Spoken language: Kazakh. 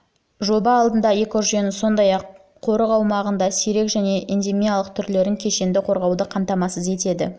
жоба қауіп алдындағы экожүйені сондай-ақ қорық аумағындағы сирек және эндемиялық түрлерін кешенді қорғауды қамтамасыз етеді